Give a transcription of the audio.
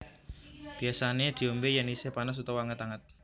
Biasané diombé yén isih panas utawa anget anget